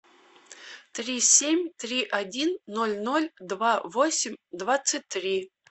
три семь три один ноль ноль два восемь двадцать три